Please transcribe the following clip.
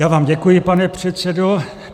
Já vám děkuji, pane předsedo.